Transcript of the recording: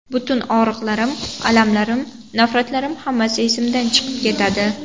Butun og‘riqlarim, alamlarim, nafratlarim hammasi esimdan chiqib ketadi.